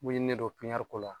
Mun ye ne don pipiniyɛriko la